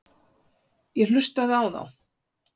Ég hlustaði á þá.